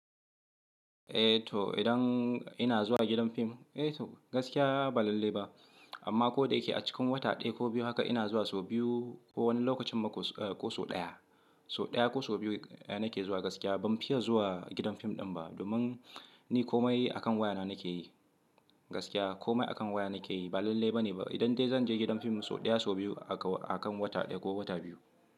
Eh to idan ina zuwa gidan fim, gaskiya ba lalle ba amma ko da yake a cikin wata ɗaya ko biyu haka ina zuwa sau biyu ko wani lokacin ma ko sau ɗaya. Sau ɗaya ko sau biyu nake zuwa gaskiya ban fiye zuwa gidan fim ɗin ba domin ni komai akan waya na nake yi gaskiya komai akan waya nake yi ba lalle ba ne idan dai zan je gidan fim sau ɗaya sau biyu a kan wata ɗaya ko wata biyu.